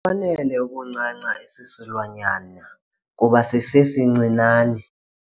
fanele ukuncanca esi silwanyana kuba sisesincinane.